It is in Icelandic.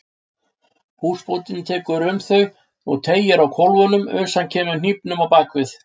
Húsbóndinn tekur um þau og teygir á kólfunum uns hann kemur hnífnum á bak við.